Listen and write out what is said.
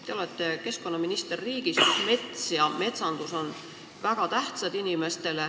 Te olete keskkonnaminister riigis, kus mets ja metsandus on inimestele väga tähtsad.